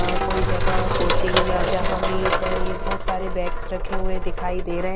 अ कोई जगह कोचिंग जहा भी अ बोहोत सारे बेग्स दिखाई दे रहे है ।